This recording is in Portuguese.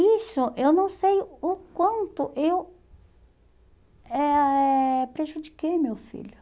Isso, eu não sei o quanto eu eh prejudiquei meu filho.